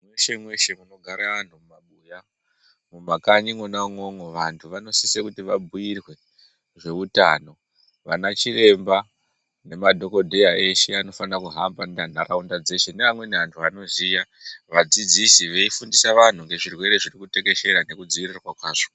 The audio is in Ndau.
Mweshe mweshe munogare antu mumabuya mumakanyi mwona umwomwo vantu vanosise kuti vabhuirwe zveutano, vana chiremba nemadhokodheya eshe anofana kuhamba ntaraunda dzeshe neamweni antu anoziya vadzidzisi veifundisa vanhu ngezvirwere zvirikutekeshera nekudziirirwa kwazvo.